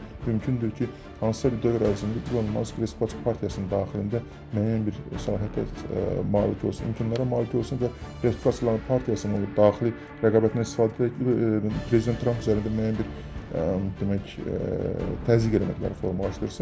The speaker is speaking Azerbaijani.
Belə olan halda mümkündür ki, hansısa bir dövr ərzində İlon Mask Respublika partiyasının daxilində müəyyən bir sahədə malik olsun, mümkün hallara malik olsun və Respublika partiyasının daxili rəqabətindən istifadə edərək prezident Tramp üzərində müəyyən bir demək, təzyiqləri formalaşdırsın.